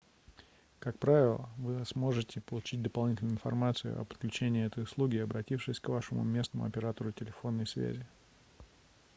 как правило вы сможете получить дополнительную информацию о подключении этой услуги обратившись к вашему местному оператору телефонной связи